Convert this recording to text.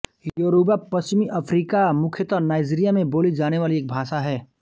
Yoruba पश्चिमी Africa मुख्यतः Nigeria में बोली जाने वाली एक भाषा है